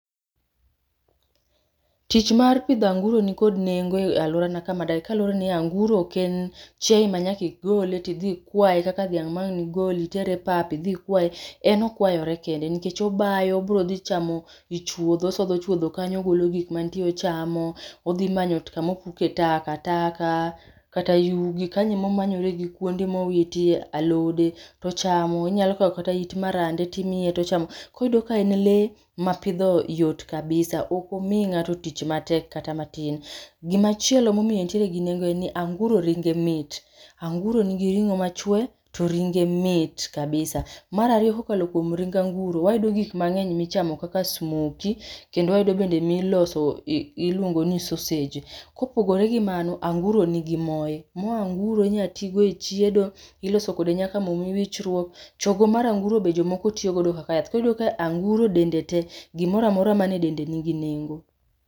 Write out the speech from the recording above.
Tich mar pidho anguro nikod nengo e alworana kama adake kaluwore ni anguro ok en chiaye ma nyaka igole tidhi ikwaye kaka dhiang' ma ang'ni igol, iter e pap, idhi ikwaye. En okwayore kende nikech obayo, obrodhi chamo ichuodho, osodho chuodho kanyo ogolo gik mantie ochamo, odhimanyo ot kama opuke takataka kata yugi, kanyo emamonyore gi kuonde mowitie, alode, tochamo, onyalo kaw kata it marande timiye tochamo. Koro iyudo ka en lee ma pidho yot kabisa ok omi ng'ato tich matek kata matin. Gimachielo momiyo enteire gi nengo en ni anguro ringe mit, anguro nigi ring'o machwe, to ringe mit kabisa. Mar ariyo kokalo kuom ring anguro wayudo gik mang'eny michamo kaka smoki, kendo wayudo bende miloso i iluongo ni sosej. Kopogore gi mano, anguro nigi moye, moo anguro inya ti godo e chiedo, iloso kode nyaka moo wichruok, chogo mar anguro be jomoko tiyo godo kaka yath koro iyudo ka anguro dende tee, gimora amora man e dende nigi nengo